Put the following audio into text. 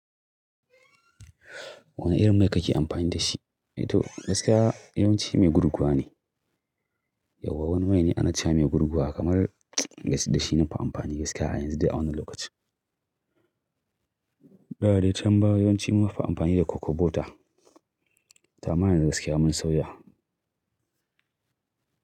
Wane irin mai kake amfani da shi? To gaskiya yawanci mai gurguwa ne. Yau wani mai ne ana ce mai gurguwa kamar da shi nafi amfani gaskiya yanzu da a wannan lokaci. Da dai tambaya yawanci nafi amfani da cocobota. Tama ne gaskiya mun sauya.